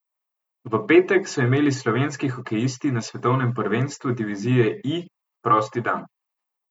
V petek so imeli slovenski hokejisti na svetovnem prvenstvu divizije I prost dan.